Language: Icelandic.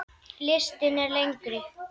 Listinn er lengri.